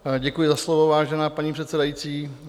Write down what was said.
Děkuji za slovo, vážená paní předsedající.